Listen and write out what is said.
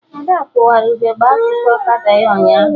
Ada kụwara ugegbe akụkụ ọkada ya ụnyaahụ